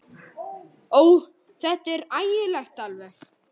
Ó, þetta er ægilegt alveg.